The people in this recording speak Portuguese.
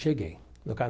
Cheguei no